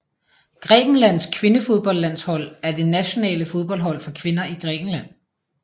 Grækenlands kvindefodboldlandshold er det nationale fodboldhold for kvinder i Grækenland